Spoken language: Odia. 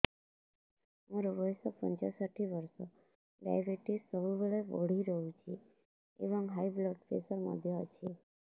ମୋର ବୟସ ପଞ୍ଚଷଠି ବର୍ଷ ଡାଏବେଟିସ ସବୁବେଳେ ବଢି ରହୁଛି ଏବଂ ହାଇ ବ୍ଲଡ଼ ପ୍ରେସର ମଧ୍ୟ ଅଛି